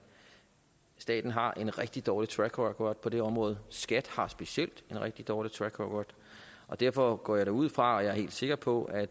staten har en rigtig dårlig track record på det område skat har specielt en rigtig dårlig track record og derfor går jeg da ud fra og er helt sikker på at